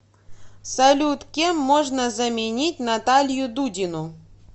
салют кем можно заменить наталью дудину